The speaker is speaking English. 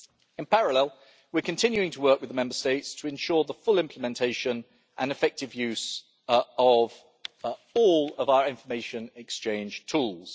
In parallel we are continuing to work with the Member States to ensure the full implementation and effective use of all of our information exchange tools.